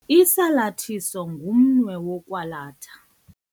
Usalathiso ngumnwe wokwalatha.